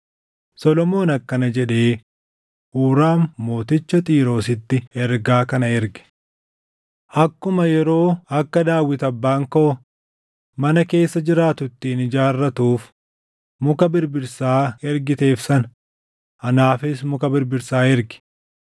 Solomoon akkana jedhee Huuraam mooticha Xiiroositti ergaa kana erge: “Akkuma yeroo akka Daawit abbaan koo mana keessa jiraatu ittiin ijaarratuuf muka birbirsaa ergiteef sana anaafis muka birbirsaa ergi.